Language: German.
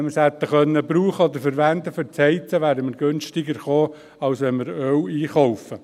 Wenn wir es fürs Heizen hätten verwenden können, wäre es günstiger gewesen, als wenn wir Öl einkaufen.